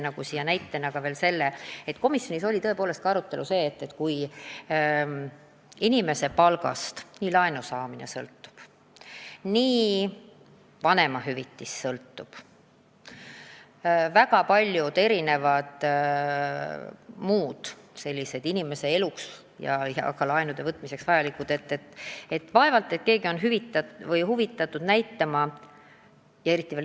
Aga komisjonis oli jutuks, et kui inimese palgast sõltub nii laenu saamine, vanemahüvitis kui paljud muud inimese elus tähtsad tegurid, siis vaevalt ollakse huvitatud näitama väikest palka.